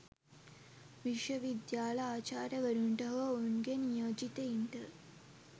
විශ්වවිද්‍යාල ආචාර්යවරුන්ට හෝ ඔවුන්ගේ නියෝජිතයින්ට